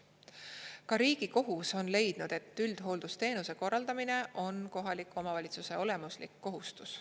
Ka Riigikohus on leidnud, et üldhooldusteenuse korraldamine on kohaliku omavalitsuse olemuslik kohustus.